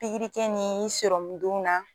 Pigirikɛ ni sɔrɔmundon na